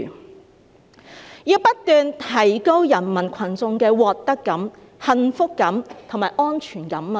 "習近平說要不斷提高人民群眾的獲得感、幸福感和安全感。